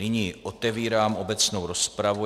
Nyní otevírám obecnou rozpravu.